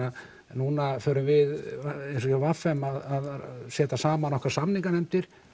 nú förum við eins og hjá v m að setja saman okkar samninganefndir